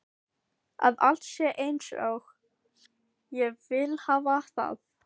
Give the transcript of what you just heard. Að allt sé einsog ég vil hafa það.